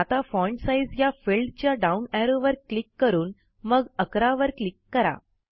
आता font size या फिल्डच्या डाऊन ऍरोवर क्लिक करून मग 11 वर क्लिक करा